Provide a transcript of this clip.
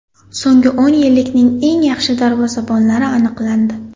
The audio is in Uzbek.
So‘nggi o‘n yillikning eng yaxshi darvozabonlari aniqlandi.